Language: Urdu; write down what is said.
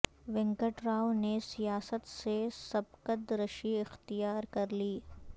وینکٹیو ر راو نے سیا ست سے سبکد ر شی اختیا ر کر لی